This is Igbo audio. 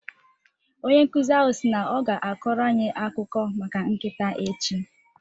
Onye nkuzi ahụ si na ọ ga-akọrọ anyị akụkọ maka nkịta echi.